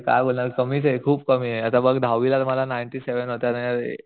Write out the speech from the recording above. अरे काय बोलणार कमीये खूप कमीये आता बघ दहावीला मला नाईंटी सेव्हन होते आणि आता